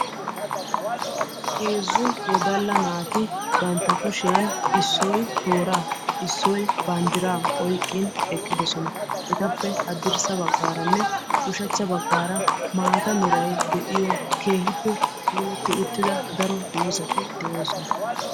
Heezzu wodalla naati bantta kushiyan issoy tooraa issoy mashaa oyqqidi eqqidosona. Etappe ushachcha bagaaranne hadrssa baggaara maata meray de'iyo keehippe puulati uttida dozzati de'oosona.